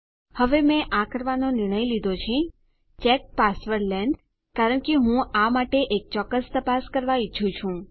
હવે મેં આ કરવાનો નિર્ણય લીધો છે ચેક પાસવર્ડ લેંગ્થ કારણ કે હું આ માટે એક ચોક્કસ તપાસ કરવા ઈચ્છું છું